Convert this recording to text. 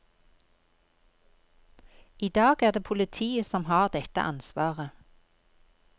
I dag er det politiet som har dette ansvaret.